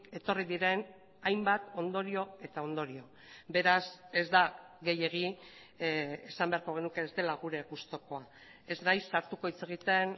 etorri diren hainbat ondorio eta ondorio beraz ez da gehiegi esan beharko genuke ez dela gure gustukoa ez naiz sartuko hitz egiten